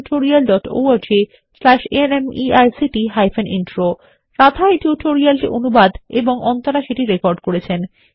httpspoken tutorialorgNMEICT Intro Radha এই tutorial টি অনুবাদ এবং অন্তরা সেটি রেকর্ড করেছেন